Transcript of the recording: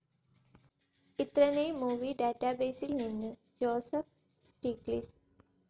ഇത്രനേയ് movie ഡാറ്റാബേസിൽ നിന്നു Joseph Stiglitz